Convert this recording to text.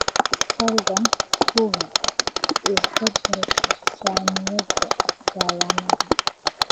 fadlan hubi isbeddelka saamiyada dhawaanahan